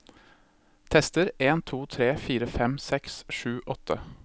Tester en to tre fire fem seks sju åtte